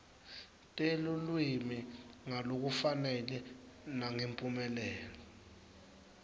telulwimi ngalokufanele nangemphumelelo